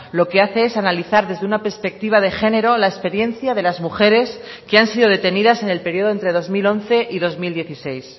lo que hace es analizar desde una perspectiva de género la experiencia de las mujeres que han sido detenidas en el periodo entre dos mil once y dos mil dieciséis